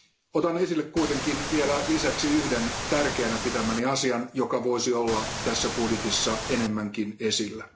Otan esille kuitenkin vielä lisäksi yhden tärkeänä pitämäni asian, joka voisi olla tässä budjetissa enemmänkin esillä.